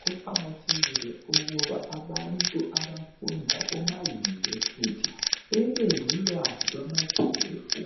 Kuqakathekile ukuba abantu abafunda koma university babe lolwazi lwamakhefu